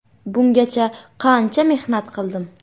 Bungacha qancha mehnat qildim.